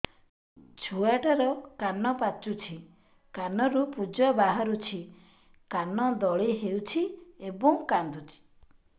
ଛୁଆ ଟା ର କାନ ପାଚୁଛି କାନରୁ ପୂଜ ବାହାରୁଛି କାନ ଦଳି ହେଉଛି ଏବଂ କାନ୍ଦୁଚି